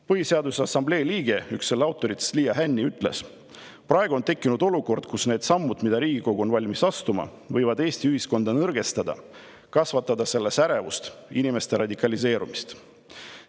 Põhiseaduse Assamblee liige, üks autoritest Liia Hänni ütles: "Praegu on tekkinud olukord, kus need sammud, mida riigikogu on valmis astuma, võivad Eesti ühiskonda minu hinnangul nõrgestada, kasvatada ühiskonnas ärevust, inimeste radikaliseerumist.